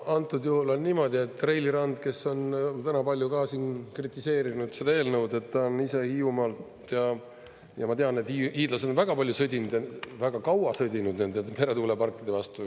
Antud juhul on niimoodi, et Reili Rand, kes on täna palju ka siin kritiseerinud seda eelnõu, ta on ise Hiiumaalt ja ma tean, et hiidlased on väga palju sõdinud, väga kaua sõdinud nende meretuuleparkide vastu.